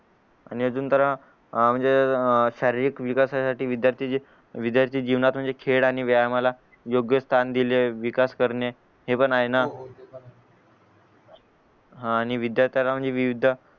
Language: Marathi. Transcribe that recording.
आणि अजून तर आह म्हणजे अह शारीरिक विकासासाठी विद्यार्थी जे विद्यार्थी जीवनात म्हणजे खेळ आणि व्यायामाला योग्य स्थान दिल विकास करणे हे पण आहे ना हा आणि विद्यार्थ्यांना म्हणजे विविध